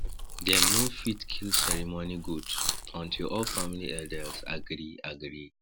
dem no fit kill ceremony goat until all family elders agree agree